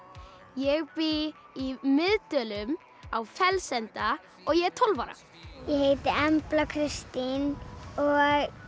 ég bý í Miðdölum á Fellsenda og ég er tólf ára ég heiti Embla Kristín og